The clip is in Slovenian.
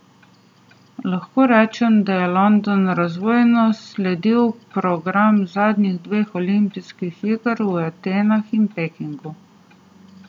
Lahko rečem, da je London razvojno sledi progam zadnjih dveh olimpijskih iger v Atenah in Pekingu.